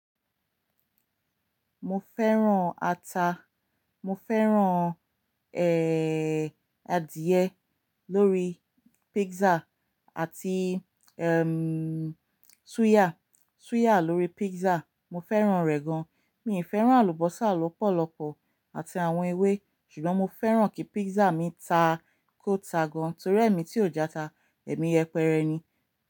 Mo fẹ́ràn ata, mo fẹ́ràn, ẹ́, adìẹ lórí pizza àti, ẹm, suya, suya lórí pizza. Mo fẹ́ràn rẹ̀ gan. Mi ì fẹ́ràn àlùbọ́sà lọ́pọ̀lọpọ̀ àti àwọn ewé ṣùgbọ́n mo fẹ́ràn kí pizza mi ta kó ta gan torí ẹ̀mí tí ò játa, ẹ̀mí yẹpẹrẹ ni.